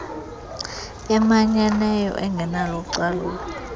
emanyeneyo engenalo ucalulo